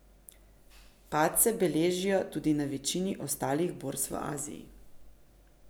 Padce beležijo tudi na večini ostalih borz v Aziji.